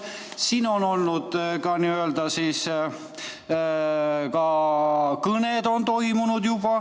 Siin on ka kõned juba toimunud.